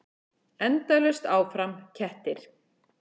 Endalaust áfram: kettir.